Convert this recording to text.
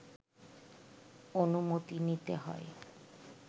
অনুমতি নিতে হয়